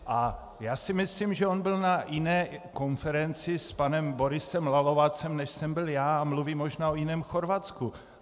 A já si myslím, že on byl na jiné konferenci s panem Borisem Lalovacem, než jsem byl já, a mluví možná o jiném Chorvatsku.